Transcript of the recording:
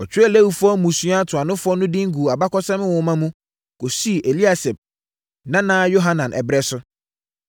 Wɔtwerɛɛ Lewifoɔ mmusua ntuanofoɔ no din guu Abakɔsɛm Nwoma mu kɔsii Eliasib nana Yohanan ɛberɛ so.